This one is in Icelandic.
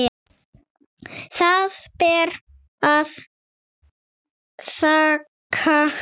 Það ber að þakka.